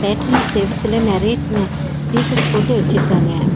தியேட்ரின் செவுத்துல நெறைய ந ஸ்பீக்கர்ஸ் போட்டு வெச்சிருக்காங்க.